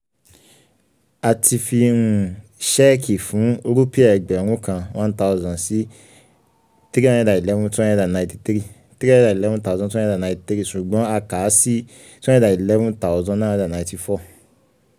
a ti fi um ṣéẹ̀kì fún um rúpì ẹgbẹ̀rún kan( one thousand ) sí three hundred eleven thousand two hundred ninety three um ṣùgbọ́n a kà á sí two hundred eleven thousand nine hundred ninety four.